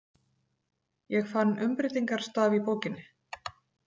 Ég fann Umbreytingarstaf í bókinni.